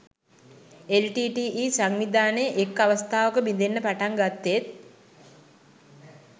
LTTE සංවිධානය එක් අවස්ථාවක බිඳෙන්න පටන් ගත්තෙත්